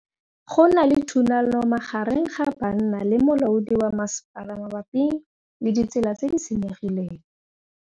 Go na le thulanô magareng ga banna le molaodi wa masepala mabapi le ditsela tse di senyegileng.